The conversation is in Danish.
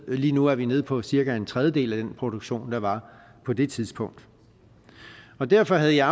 lige nu er vi nede på cirka en tredjedel af den produktion der var på det tidspunkt derfor havde jeg